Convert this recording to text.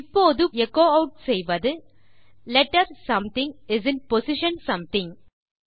இப்போது echo add செய்வது letter something is in position something